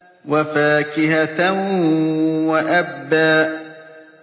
وَفَاكِهَةً وَأَبًّا